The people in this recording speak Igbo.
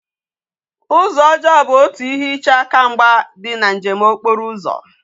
Uzo ojoo bu otu ihe iche aka mgba di na njem okporo uzo